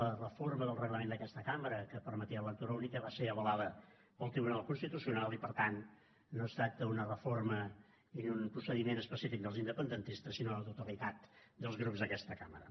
la reforma del reglament d’aquesta cambra que permetia la lectura única va ser avalada pel tribunal constitucional i per tant no es tracta d’una reforma i d’un procediment específic dels independentistes sinó de la totalitat dels grups d’aquesta cambra